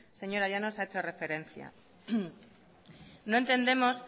señora llanos ha hecho referencia no entendemos